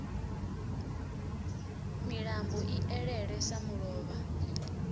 milambo i elele sa mulovha